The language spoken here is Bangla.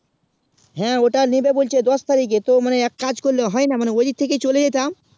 হেঁ অতটা নিবে বলছে দশ তারিকে তো মানে এক কাজ হয়ে না মানে ঐই দিক থেকে ই চলে যেতাম